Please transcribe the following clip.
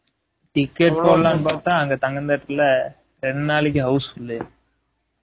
ticket போடலாம்னு பாத்த அங்க தங்கம் theatre ல ரெண்டு நாளைக்கு house full